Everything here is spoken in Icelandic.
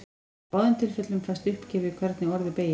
Í báðum tilfellum fæst uppgefið hvernig orðið beygist.